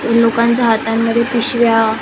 लोकांच्या हातामध्ये पिशव्या अ --